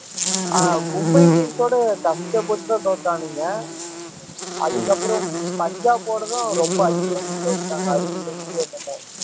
ஆஹ் Mumbai Indians ஓட கஷ்டப்பட்டுதான் தோத்தானுங்க அதுக்கப்புறம் பஞ்சாப் போனதும் ரொம்ப அதிகம்ன்னு தோத்துட்டாங்க அறுபது runs என்னமோ